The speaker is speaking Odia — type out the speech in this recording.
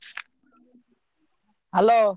Hello.